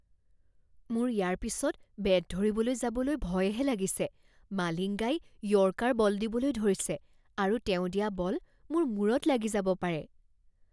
মোৰ ইয়াৰ পিছত বেট ধৰিবলৈ যাবলৈ ভয়হে লাগিছে। মালিংগাই য়ৰ্কাৰ বল দিবলৈ ধৰিছে আৰু তেওঁ দিয়া বল মোৰ মূৰত লাগি যাব পাৰে।